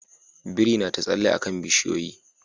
Birin na ta tsalle a kan bishiyoyi